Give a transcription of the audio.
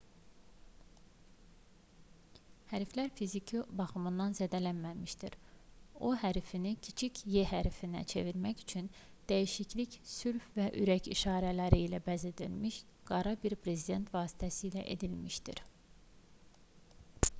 hərflər fiziki baxımdan zədələnməmişdi o hərfini kiçik e hərfinə çevirmək üçün dəyişiklik sülh və ürək işarələri ilə bəzədilmiş qara bir brezent vasitəsilə edilmişdi